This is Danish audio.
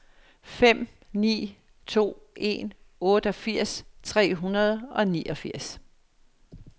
fem ni to en otteogfirs tre hundrede og niogfirs